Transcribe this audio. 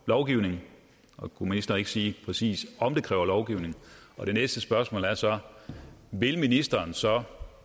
lovgivning kunne ministeren så ikke sige præcis om det kræver lovgivning det næste spørgsmål er så vil ministeren så